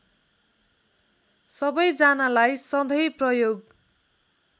सबैजनालाई सधैँ प्रयोग